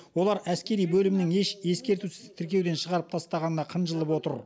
олар әскери бөлімнің еш ескертусіз тіркеуден шығарып тастағанына қынжылып отыр